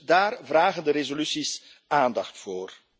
Dus daar vragen de resoluties aandacht voor.